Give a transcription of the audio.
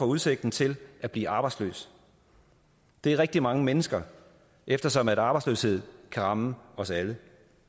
udsigten til at blive arbejdsløs det er rigtig mange mennesker eftersom arbejdsløshed kan ramme os alle